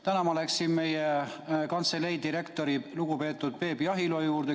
Täna ma läksin meie kantselei direktori, lugupeetud Peep Jahilo juurde.